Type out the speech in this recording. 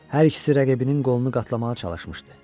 Hər ikisi rəqibinin qolunu qatlamağa çalışmışdı.